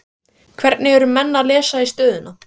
Hvernig eru menn að lesa í stöðuna?